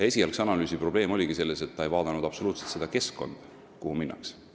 Esialgse analüüsi probleem oligi selles, et seal ei vaadatud absoluutselt seda keskkonda, kuhu minnakse.